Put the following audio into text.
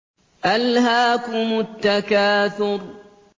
أَلْهَاكُمُ التَّكَاثُرُ